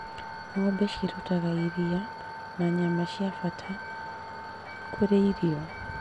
Ng'ombe cirutaga iria na nyama cia bata kũrĩ irio.